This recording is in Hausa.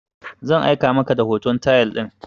Zan aika maka hoton tayal din